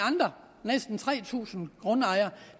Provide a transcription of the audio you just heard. næsten tre tusind grundejere